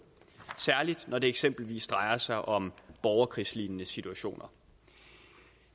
særlig når det eksempelvis drejer sig om borgerkrigslignende situationer